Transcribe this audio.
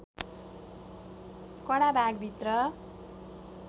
कडा भाग भित्र